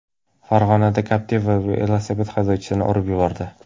Farg‘onada Captiva velosiped haydovchisini urib yubordi.